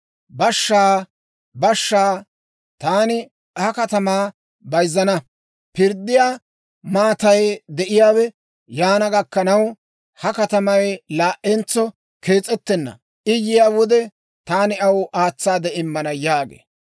Bashshaa! Bashshaa! Taani ha katamaa bayzzana! Pirddiyaa maatay de'iyaawe yaana gakkanaw, ha katamay laa"entso kees'ettenna. I yiyaa wode taani aw aatsaade immana› yaagee.